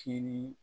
Kini